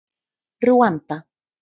Rúanda